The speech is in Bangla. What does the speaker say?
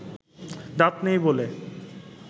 দাঁত নেই বলে